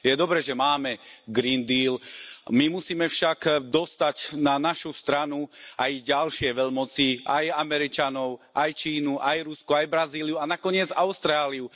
Je dobré, že máme Green deal, my musíme však dostať na našu stranu aj ďalšie veľmoci aj Američanov, aj Čínu, aj Rusko, aj Brazíliu a nakoniec Austráliu.